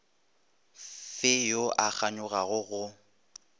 fe yo a kganyogago go